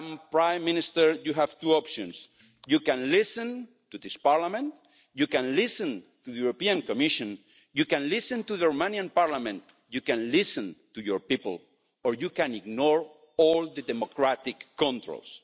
Prime Minister, you have two options you can listen to this Parliament, you can listen to the Commission, you can listen to the Romanian Parliament, you can listen to your people or you can ignore all the democratic controls.